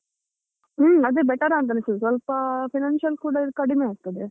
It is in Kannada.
ಹ್ಮ್ ಅದೇ better ಅಂತ ಅನಿಸುದು ಸ್ವಲ್ಪ financial ಕೂಡ ಇದು ಕಡಿಮೆ ಆಗ್ತದೆ.